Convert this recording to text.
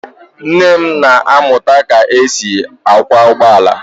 Nne m na-amụta ka e si akwọ ụgbọ ala.